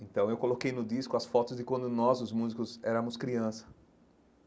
Então eu coloquei no disco as fotos de quando nós, os músicos, éramos criança.